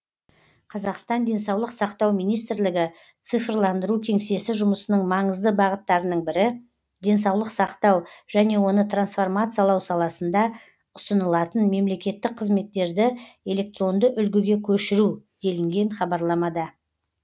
қазақстан денсаулық сақтау министрлігі цифрландыру кеңсесі жұмысының маңызды бағыттарының бірі денсаулық сақтау және оны трансформациялау саласында ұсынылатын мемлекеттік қызметтерді электронды үлгіге көшіру делінген хабарламада